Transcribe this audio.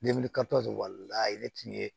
wala ne tun ye